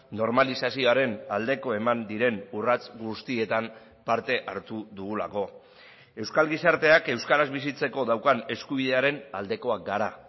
normalizazioaren aldeko eman diren urrats guztietan parte hartu dugulako euskal gizarteak euskaraz bizitzeko daukan eskubidearen aldekoak gara